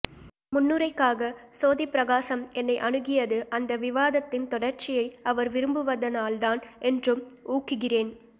இம்முன்னுரைக்காக சோதிப்பிரகாசம் என்னை அணுகியது அந்த விவாதத்தின் தொடர்ச்சியை அவர் விரும்புவதனால்தான் என்றும் ஊகிக்கிறேன்